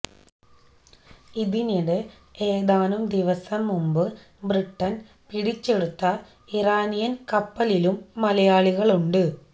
ഇതിനിടെ ഏതാനും ദിവസം മുമ്പ് ബ്രിട്ടന് പിടിച്ചെടുത്ത ഇറാനിയന് കപ്പലിലും മലയാളികളുണ്ട്